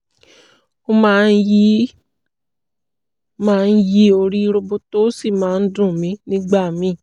ó máa ń yí máa ń yí ó rí roboto ó sì máa ń dùn mí nígbà míì